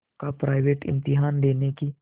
का प्राइवेट इम्तहान देने की